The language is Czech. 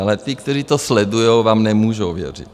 Ale ti, kteří to sledují, vám nemůžou věřit.